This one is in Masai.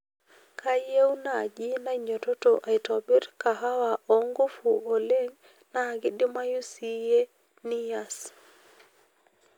kayie naaji nainyototo aitobirr kahawa oo nguvu oleng' naa kidimayu siyie niass